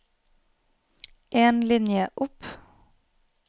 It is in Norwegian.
En linje opp